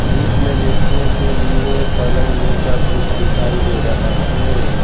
बीच में लेटने के लिए पलंग जैसा कुछ दिखाई दे रहा है।